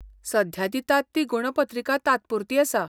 सध्या दितात ती गूणपत्रिका तात्पुरती आसा.